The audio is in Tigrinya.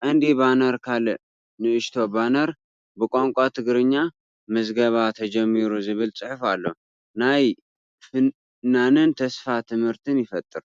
ቀንዲ ባነር ካልእ ንእሽቶ ባነር ብቋንቋ ትግርኛ "ምዝገባ ተጀሚሩ" ዝብል ጽሑፍ ኣሎ። ናይ ፍናንን ተስፋን ትምህርቲ ይፈጥር።